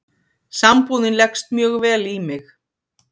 Sambúðin leggst mjög vel í mig